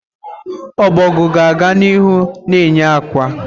Ọbọgwụ ga-aga n'ihu na-eye ákwà.